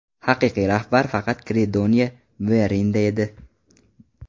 Haqiqiy rahbar faqat Kredoniya Mverinda edi.